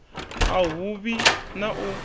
a hu vhi na u